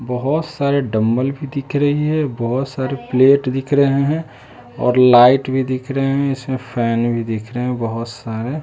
बहोत सारे डम्बल भी दिख रही है बहोत सारे प्लेट दिख रहे हैं और लाइट भी दिख रहे हैं इसमें फैन भी दिख रहे बहोत सारे।